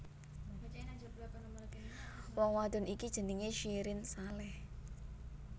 Wong wadon iki jenengé Syirin Saleh